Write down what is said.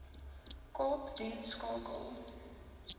kaap doen skakel